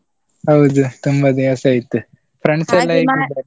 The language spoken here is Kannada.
ಹೌದು ತುಂಬಾ ದಿವಸ ಆಯ್ತು .